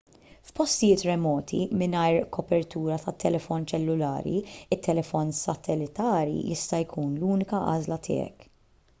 f'postijiet remoti mingħajr kopertura tat-telefon ċellulari it-telefon satellitari jista' jkun l-unika għażla tiegħek